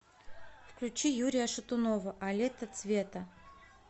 включи юрия шатунова а лето цвета